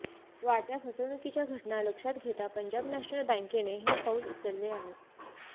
वाढत्या फसवणूकीच्या घटना लक्षात घेता पंजाब नॅशनल बँकेने हे पाऊल उचलले आहे